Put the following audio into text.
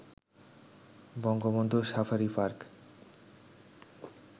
Bangabandhu safari park